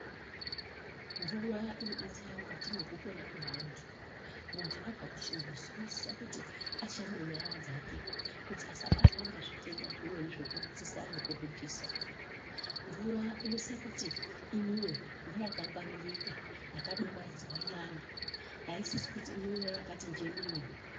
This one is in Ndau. Mvura inodetsera mukati mwekupona kwevantu. Muntu abva kuchimbuzi, unosisa kuti ashambe nyara dzake kuti asabatwa ngezvitenda zvimweni zvekurutsisa nekuhudhisa. Mvura inosisa kuti imwiwe ngeyakangwaririka, yakadumaidzwa iyani. Haisisi kuti imwiwe yakati njenene.